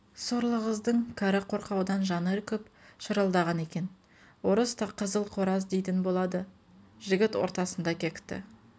сорлы қыздың кәрі қорқаудан жаны үркіп шырылдаған екен орыста қызыл қораз дейтін болады жігіт орта-сында кекті